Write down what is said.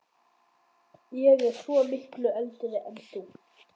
Ég er svo miklu eldri en þú